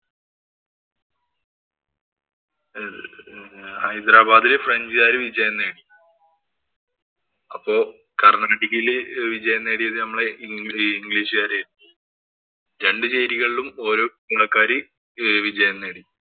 ആഹ് ഹൈദരാബാദില് ഫ്രഞ്ചുകാര് വിജയം നേടി. അപ്പൊ കര്‍ണാട്ടിക്കില് വിജയം നേടിയത് നമ്മളെ ഇന്‍ ഇംഗ്ലീഷുകാരായിരുന്നു രണ്ടു ചേരിയിലും ഓരോ വിജയം നേടി.